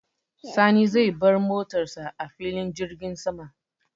Sani zai bar motar sa a filin jirgin sama.